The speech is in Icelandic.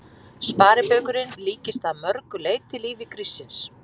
Sparibaukurinn líkist að mörg leyti lífi gríssins.